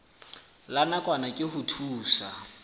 la nakwana ke ho thusa